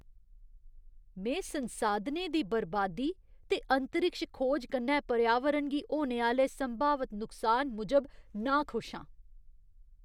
में संसाधनें दी बरबादी ते अंतरिक्ष खोज कन्नै पर्यावरण गी होने आह्‌ले संभावत नुकसान मूजब नाखुश आं।